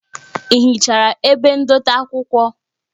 Ị hichara ebe ndote akwụkwọ?